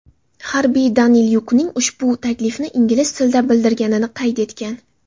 Harbiy Danilyukning ushbu taklifni ingliz tilida bildirganini qayd etgan.